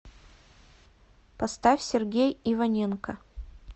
поставь сергей иваненко